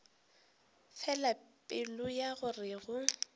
fela pelo ya gore go